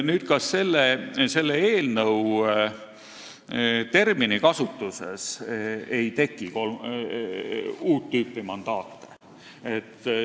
Nüüd, kas selle eelnõu terminikasutuses ei teki uut tüüpi mandaate?